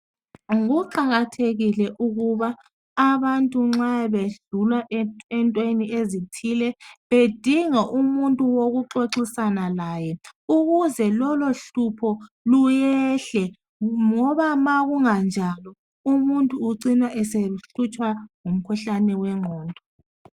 Kuqakathekile ukuba abantu nxa bedlula entweni ezithile bedinga umuntu wokuxoxisana laye ukuze lolohlupho luyehle ngoba ma kukanganjalo umuntu ucina esehlutshwa ngumkhuhlane wengqondo